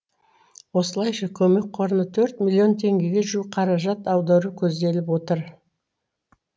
осылайша көмек қорына төрт миллион теңгеге жуық қаражат аудару көзделіп отыр